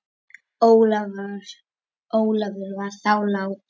Ólafur var þá látinn.